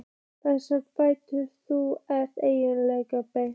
Þar um færð þú engu breytt.